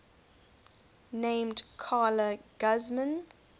named carla guzman